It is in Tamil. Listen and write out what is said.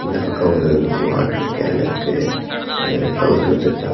இந்த பக்கோ ஒரு வாட்டர் கேன் இருக்கு அத கவுத்து வெச்சுருக்காங்க.